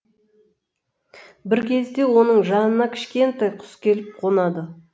бір кезде оның жанына кішкентай құс келіп қонады